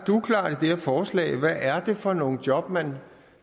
forslag er hvad det er for nogle job man